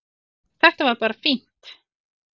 Þetta var bara fínt